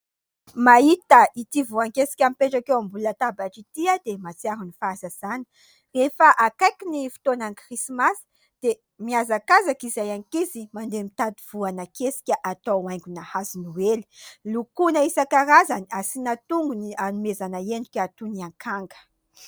Mahita ity voan-kesika mipetraka eo ambony latabatra ity aho dia mahatsiaro ny fahazazana. Efa akaiky ny fotoanan'ny krismasy dia mihazakazaka izahay ankizy mandeha mitady voana kesika atao haingona hazo noely. Lokoina isan-karazany asiana tongony hanomezana endrika toy ny akanga.